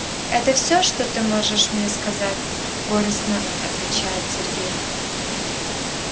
это всё что ты можешь мне сказать горестно отвечает сергей